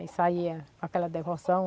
Aí saía com aquela devoção.